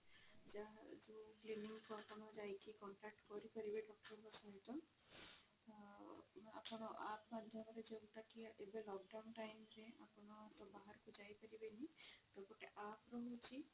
ଯାହା ଯୋଉ clinic କୁ ଆପଣ ଯାଇକି contact କରି ପାରିବେ doctor ଙ୍କ ସହିତ ଆପଣ app ମାଧ୍ୟମରେ ଯୋଉଟା କି ଏବେ lockdown time ରେ ଆପଣ ତ ବାହାରକୁ ଯାଇ ପରିବେନି ତ ଗୋଟେ app ରହୁଛି